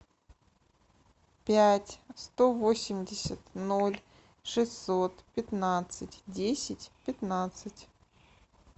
пять сто восемьдесят ноль шестьсот пятнадцать десять пятнадцать